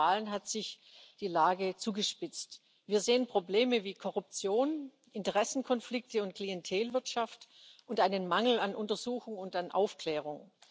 Und seit den Wahlen hat sich die Lage zugespitzt. Wir sehen Probleme wie Korruption, Interessenkonflikte und Klientelwirtschaft und einen Mangel an Untersuchung und an Aufklärung.